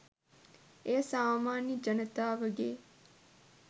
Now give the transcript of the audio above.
එය සාමාන්‍ය ජනතාවගේ